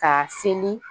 Ka seli